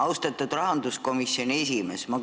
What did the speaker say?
Austatud rahanduskomisjoni esimees!